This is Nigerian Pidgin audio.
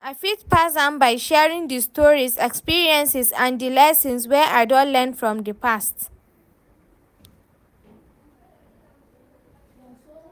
I fit pass am by sharing di stories, experiences and di lessons wey i don learn from di past.